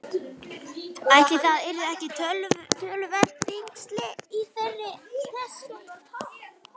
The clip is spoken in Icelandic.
Ætli það yrðu ekki töluverð þyngsli á þeirri teskeið.